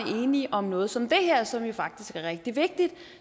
enige om noget som det her som faktisk er rigtig vigtigt